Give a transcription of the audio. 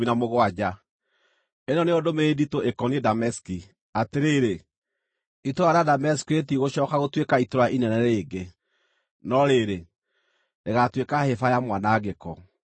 Ĩno nĩyo ndũmĩrĩri nditũ ĩkoniĩ Dameski: “Atĩrĩrĩ, itũũra rĩa Dameski rĩtigũcooka gũtuĩka itũũra inene rĩngĩ, no rĩrĩ, rĩgaatuĩka hĩba ya mwanangĩko.